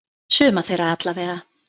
Suma þeirra allavega.